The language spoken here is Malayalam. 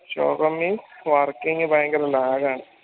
ശോകം means working ഭയങ്കര lag ആണ്